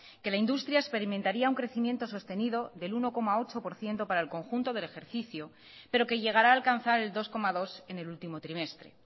que la industria experimentaría un crecimiento sostenido del uno coma ocho por ciento para el conjunto del ejercicio pero que llegará a alcanzar el dos coma dos en el último trimestre